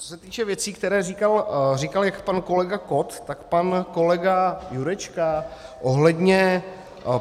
Co se týče věcí, které říkal jak pan kolega Kott, tak pan kolega Jurečka ohledně...